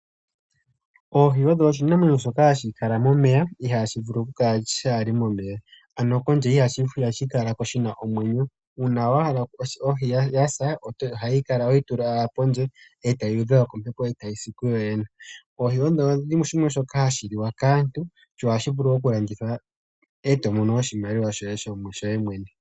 Oohi odho oshinamwenyo shoka hashi kala momeya, ihashi vulu oku kala kaa shi li momeya. Uuna wa hala dha sa oho dhi kutha mo momeya e ta dhi dhengwa kombepo eta dhi si kudhodhene. Ohadhi liwa kaantu dho ohadhi vulu oku landithwa e to imonene oshimaliwa.